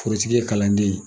Forotigi ye kalanden ye.